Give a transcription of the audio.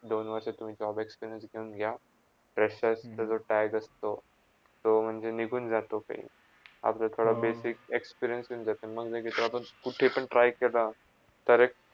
दोन वर्षा तु JOB घेऊन घ्या pressure जरा tight असतो तो म्हणजे निघून जातो काही अजून काही basic experience येऊन जाते मग ते जॉबच तू कुठेपण try कर. तर एक